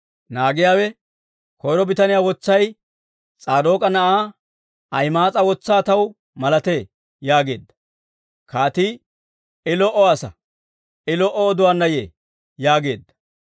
Naagiyaawe, «Koyro bitaniyaa wotsay S'aadook'a na'aa Ahima'aas'a wotsaa taw malatee» yaageedda. Kaatii, «I lo"o asaa; I lo"o oduwaanna yee» yaageedda.